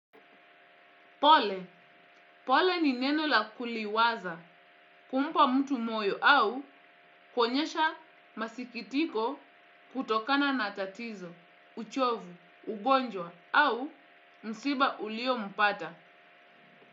Pole, pole ni neno la kuliwaza, kumpa mtu moyo au kuenyesha masikitiko kutokana na tatizo, uchovu, ugonjwa au msiba ulio mpata.